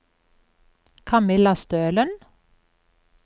Kamilla Stølen